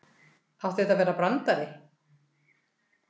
Átti þetta að vera brandari?